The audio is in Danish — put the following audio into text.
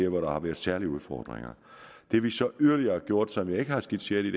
hvor der har været særlige udfordringer det vi så yderligere har gjort og som jeg ikke har skitseret i